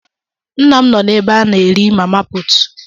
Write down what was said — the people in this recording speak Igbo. Nna'm no na ebe a na eri mama putu.